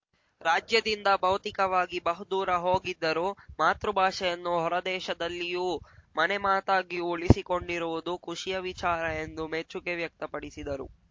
ರಾಜ್ಯದಿಂದ ಭೌತಿಕವಾಗಿ ಬಹುದೂರ ಹೋಗಿದ್ದರೂ ಮಾತೃ ಭಾಷೆಯನ್ನು ಹೊರದೇಶದಲ್ಲಿಯೂ ಮನೆ ಮಾತಾಗಿ ಉಳಿಸಿಕೊಂಡಿರುವುದು ಖುಷಿಯ ವಿಚಾರ ಎಂದು ಮೆಚ್ಚುಗೆ ವ್ಯಕ್ತಪಡಿಸಿದರು